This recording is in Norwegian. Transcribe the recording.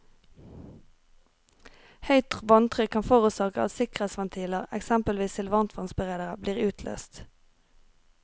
Høyt vanntrykk kan forårsake at sikkerhetsventiler, eksempelvis til varmtvannsberedere, blir utløst.